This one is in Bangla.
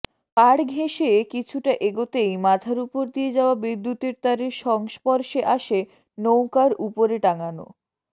পাড় ঘেঁষে কিছুটা এগোতেই মাথার উপর দিয়ে যাওয়া বিদ্যুতের তারের সংস্পর্শে আসে নৌকার উপরে টাঙানো